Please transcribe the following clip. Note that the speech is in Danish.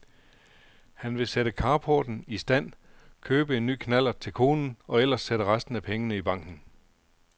Han vil sætte carporten i stand, købe en ny knallert til konen og ellers sætte resten af pengene i banken.